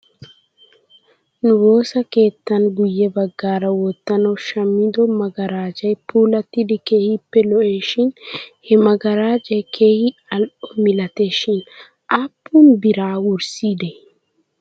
Nu woosa keettan guyye bagaara wottanaw shammido magarajay puulattidi keehippe lo'es shin he magarajay keehi al''o milates shin aappun biraa wurssideedee?